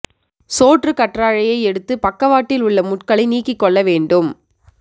சோற்றுக் கற்றாழையை எடுத்து பக்கவாட்டில் உள்ள முட்களை நீக்கி கொள்ள வேண்டும்